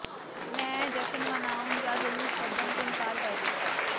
ਮੈਂ ਜਸ਼ਨ ਮਨਾਉਣ ਜਾਂ ਜਲੂਸ ਕੱਢਣ ਤੋਂ ਇਨਕਾਰ ਕਰ ਦਿਤਾ